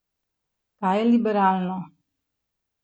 Kaj je liberalno?